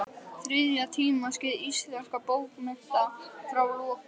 Þriðja tímaskeið íslenskra bókmennta, frá lokum